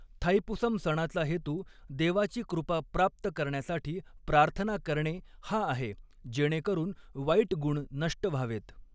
थाईपुसम सणाचा हेतू देवाची कृपा प्राप्त करण्यासाठी प्रार्थना करणे हा आहे जेणेकरून वाईट गुण नष्ट व्हावेत.